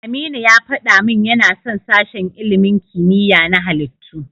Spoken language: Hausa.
Aminu ya faɗa min yana son sashen ilimin kimiyya na halittu.